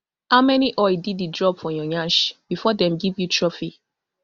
how many oil diddy drop for your nyash bifor dem give you trophy